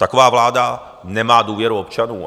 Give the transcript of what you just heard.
Taková vláda nemá důvěru občanů.